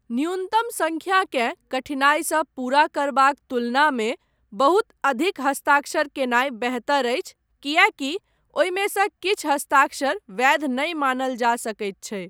न्यूनतम संख्याकेँ कठिनाईसँ पूरा करबाक तुलनामे बहुत अधिक हस्ताक्षर केनाय बेहतर अछि कियैकि ओहिमे सँ किछु हस्ताक्षर वैध नहि मानल जा सकैत छै।